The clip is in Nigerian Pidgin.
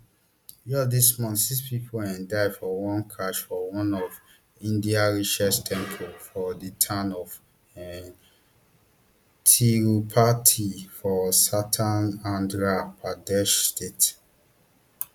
just dis month six pipo um die for one crush for one of india richest temple for di town of um tirupati for southern andhra pradesh state